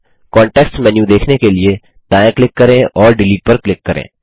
context menu देखने के लिए दायाँ क्लिक करें और डिलीट पर क्लिक करें